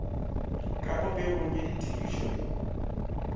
ka popegong ya ditefišo le